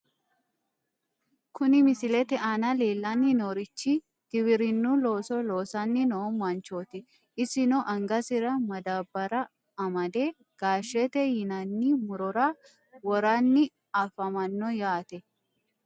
Kuni misilete aana leellanni noorichi giwirinnu looso loosanni noo manchooti, isino angasira madaabbara amade gaashete yinanni murora woranni afamanno yaate.